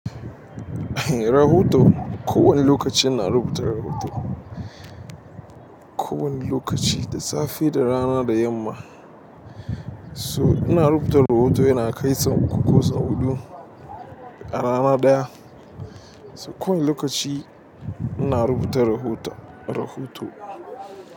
Rahoto to kowanne lokaci ina rubuta rahoto ko wanna lokacisafe da rana da yamma so ina rubuta rahoto yana kai sau uku ko sau huɗu a rana ɗaya. So ko wani lokaci ina rubuta rahota, rahoto.